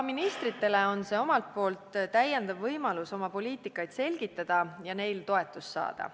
Ministritele on see omakorda võimalus oma poliitikasuundi selgitada ja neile toetust saada.